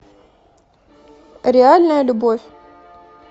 реальная любовь